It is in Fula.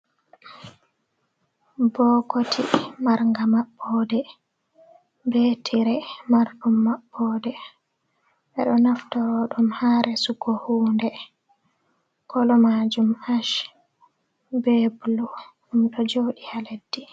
Bookoti marga maɓɓode, be tire mariɗum maɓɓode ɓeɗo naftiraɗum ha resuuko hunde koloomajum ach bee bulu ɗum ɗo joɗi ha leddi.